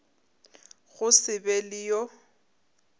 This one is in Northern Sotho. go se be le yo